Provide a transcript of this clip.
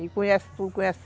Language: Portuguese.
E conhece tudo, conhece...